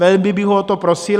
Velmi bych ho o to prosil.